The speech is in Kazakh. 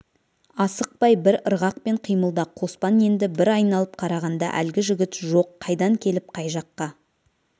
асықпай бір ырғақпен қимылда қоспан енді бір айналып қарағанда әлгі жігіт жоқ қайдан келіп қай жаққа